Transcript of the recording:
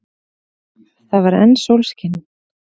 Það var enn sólskin.